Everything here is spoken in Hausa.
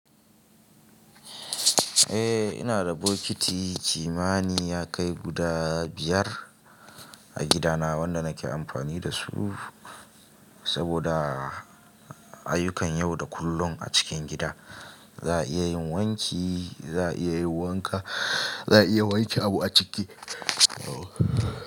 Eh ina da bokiti kimani ya kai guda biyar a gida na wanda nake amfani dasu saboda ayyukan yau da kullum a cikin gida. Za a iya yin wanki, za a iya yin wanka, za a iya wanke abu a ciki. Oh.